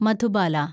Madhubala